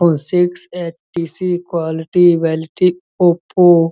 six HTC quality availability Oppo --